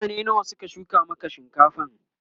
mutane nawa Suka shuka Maka shinkafan?